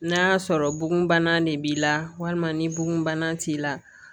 N'a y'a sɔrɔ bugun bana de b'i la walima ni bugunbana t'i la